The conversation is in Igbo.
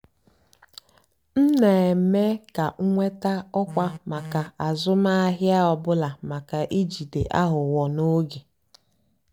m nà-èmékà nwétá ọ́kwá màkà àzụ́mahìá ọ́ bụ́là màká ìjìdé àghụ́ghọ́ n'ógè.